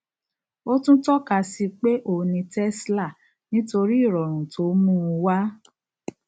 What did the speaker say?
o tún tọka síi pé òun ní tesla nitori ìrọrùn to mùú wá